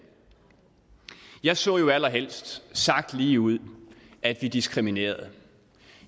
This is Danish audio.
jeg så jo allerhelst sagt ligeud at vi diskriminerede